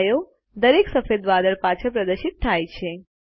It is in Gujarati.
છાયો દરેક સફેદ વાદળ પાછળ પ્રદર્શિત થાય છે